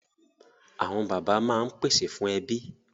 Awọn baba maa n pese fun ẹbi